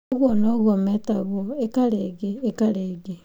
Ũguo noguo mĩtagwo, 'Ĩka rĩngĩ, ĩka rĩngĩ.'